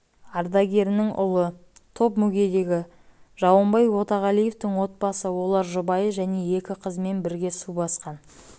ардагерінің ұлы топ мүгедегі жауынбай өтеғалиевтің отбасы олар жұбайы және екі қызымен бірге су басқан